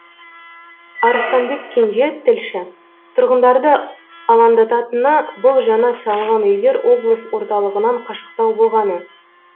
арыстанбек кенже тілші тұрғындарды алаңдататыны бұл жаңа салынған үйлер облыс орталығынан қашықтау болғаны